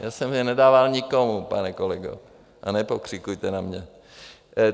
Já jsem je nedával nikomu, pane kolego, a nepokřikujte na mě.